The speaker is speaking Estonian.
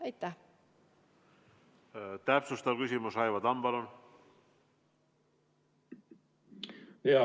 Täpsustav küsimus, Raivo Tamm, palun!